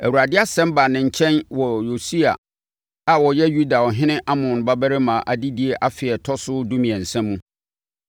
Awurade asɛm baa ne nkyɛn wɔ Yosia a ɔyɛ Yuda ɔhene Amon babarima adedie afe a ɛtɔ so dumiɛnsa mu.